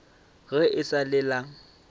ga e sa le la